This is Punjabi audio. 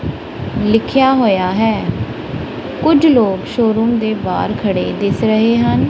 ਲਿਖੇਆ ਹੋਇਆ ਹੈ ਕੁੱਛ ਲੋਕ ਸ਼ੋਰੂਮ ਦੇ ਬਾਹਰ ਖੜੇ ਦਿੱਸ ਰਹੇ ਹਨ।